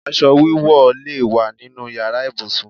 Aṣọ wíwọ̀ lè wá nínu yàrá ibùsùn.